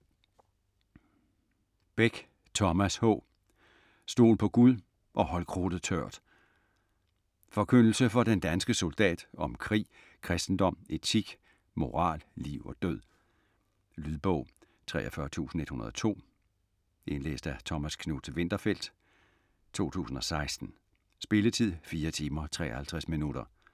Beck, Thomas H.: Stol på Gud - og hold krudtet tørt Forkyndelse for den danske soldat om krig, kristendom, etik, moral, liv og død. Lydbog 43102 Indlæst af Thomas Knuth-Winterfeldt, 2016. Spilletid: 4 timer, 53 minutter.